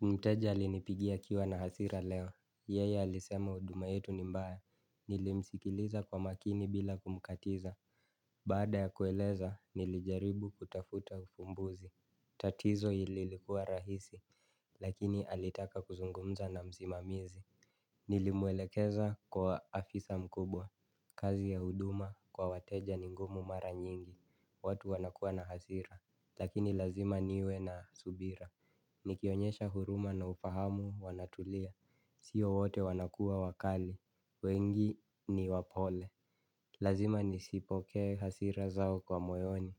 Mteja alinipigia akiwa na hasira leo, yeya alisema huduma yetu ni mbaya, nilimsikiliza kwa makini bila kumkatiza. Baada ya kueleza, nilijaribu kutafuta ufumbuzi. Tatizo ililikua rahisi, lakini alitaka kuzungumza na msimamizi. Nilimwelekeza kwa afisa mkubwa, kazi ya huduma kwa wateja ni ngumu mara nyingi, watu wanakuwa na hasira. Lakini lazima niwe na subira. Nikionyesha huruma na ufahamu wanatulia. Sio wote wanakuwa wakali. Wengi ni wapole. Lazima nisipokee hasira zao kwa moyoni.